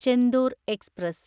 Chendur express